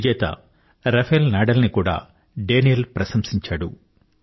విజేత Rafael Nadal ని కూడా డానీల్ ప్రశంసించాడు